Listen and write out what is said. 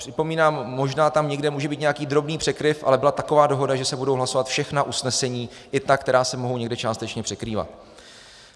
Připomínám, možná tam někde může být nějaký drobný překryv, ale byla taková dohoda, že se budou hlasovat všechna usnesení, i ta, která se mohou někde částečně překrývat.